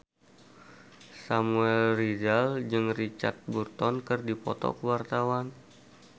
Samuel Rizal jeung Richard Burton keur dipoto ku wartawan